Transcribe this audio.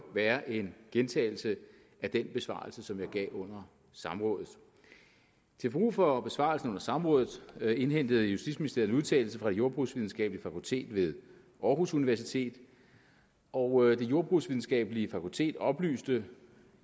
være en gentagelse af den besvarelse som jeg gav under samrådet til brug for besvarelsen under samrådet indhentede justitsministeriet en udtalelse fra det jordbrugsvidenskabelige fakultet ved aarhus universitet og det jordbrugsvidenskabelige fakultet oplyste